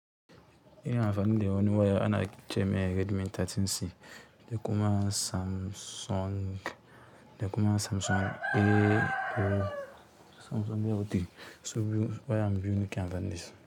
Ina amfani da wani waya ana cemai Redmi 13C, da kuma da kuma Samsung A03, wayan biyu nake amfani dasu.